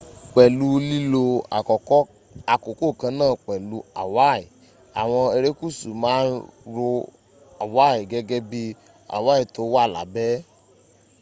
pẹ̀lú lílo àkókò kanáà pẹ̀lú hawaii àwọn erékùsù ma ń ro hawaii gẹ́gẹ́ bí hawaii tó wà lábẹ́